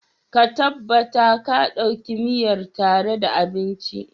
ka tabbata ka Dauki miyar tare da abinci